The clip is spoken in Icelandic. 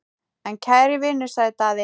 En kæri vinur, sagði Daði.